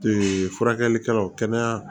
furakɛlikɛlaw kɛnɛya